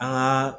An ka